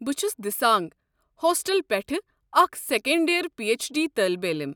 بہٕ چھُس دِسانٛگ ہوسٹلہٕ پٮ۪ٹھٕہٕ اكھ second year P H D طٲلب علم ۔